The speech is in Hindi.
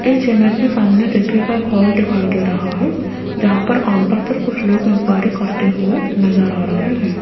इस इमेज में सामने देखिएगा एक हॉल दिखाई दे रहा है जहां पर काउंटर पर कुछ लोग एन्क्वाइअरी करते हुए नजर आ रहे हैं।